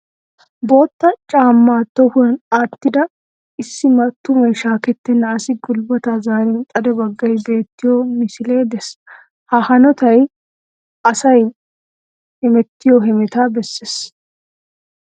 Bootta caamaa tohuwan aattida issi mattumay shaaketenna asi gulbaati zaarin xade baggay beettiyoo misilee de'ees. Ha hanotay asay hemetiyoo hemetaa besses.